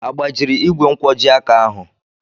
Agbajiri igwe nkwojiaka ahụ?